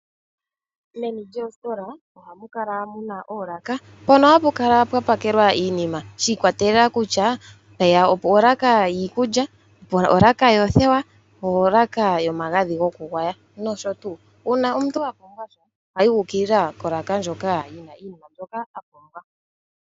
Meni lyoositola ohamu kala muna oolaka, mpono hapu kala pwa pakelwa iinima shiikwatelela kutya mpeya olaka yiikulya, olaka yoothewa, olaka yomagadhi goku gwaya nosho tuu. Uuna omuntu apumbwa sha , oha yi uukilila kolaka ndjoka yina iinima mbyoka apumbwa.